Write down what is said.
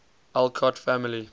alcott family